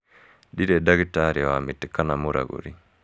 Ndirĩ ndagĩtarĩ wa mĩtĩ kana mũragũri.